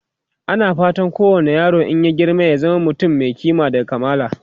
ana fatan kowani yaro in ya girma ya zama mutum Mai kima da kamala